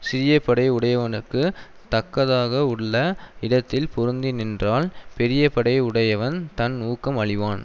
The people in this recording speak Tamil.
சிறிய படை உடையவனுக்குத் தக்கதாக உள்ள இடத்தில் பொருந்தி நின்றால் பெரிய படை உடையவன் தன் ஊக்கம் அழிவான்